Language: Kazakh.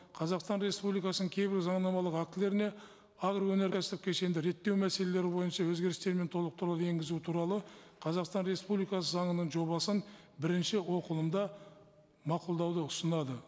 қазақстан республикасының кейбір заңнамалық актілеріне агроөнеркәсіп кешенді реттеу мәселелері бойынша өзгерістер мен толықтыруды енгізу туралы қазақстан республикасы заңының жобасын бірінші оқылымда мақұлдауды ұсынады